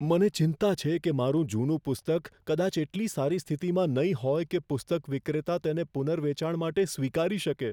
મને ચિંતા છે કે મારું જૂનું પુસ્તક કદાચ એટલી સારી સ્થિતિમાં નહીં હોય કે પુસ્તક વિક્રેતા તેને પુનર્વેચાણ માટે સ્વીકારી શકે.